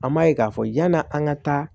An m'a ye k'a fɔ yan'an ka taa